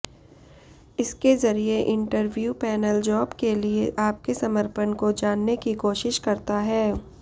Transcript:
इसके जरिए interview panel job के लिए आपके समर्पण को जानने की कोशिश करता है